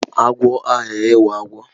Agwo aghaghị ịwụ agwọ